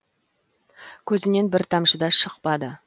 көзінен бір тамшы да шықпады